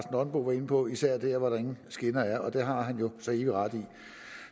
nonbo var inde på især der hvor der ingen skinner er og det har han jo så evig ret i